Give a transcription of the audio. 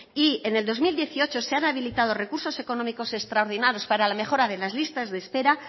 y en el dos mil dieciocho se han habilitado recursos económicos extraordinarios para la mejora de las listas de espera